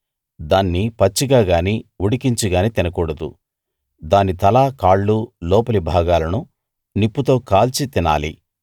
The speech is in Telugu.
దాన్ని పచ్చిగా గానీ ఉడికించిగానీ తినకూడదు దాని తల కాళ్ళు లోపలి భాగాలను నిప్పుతో కాల్చి తినాలి